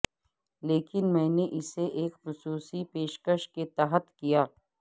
لیکن میں نے اسے ایک خصوصی پیشکش کے تحت کیا